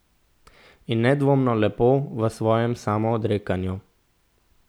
In nedvomno lepo v svojem samoodrekanju.